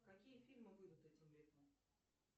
какие фильмы выйдут этим летом